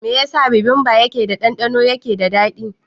Me yasa bibimbap keda ɗandɗano yake da dadi?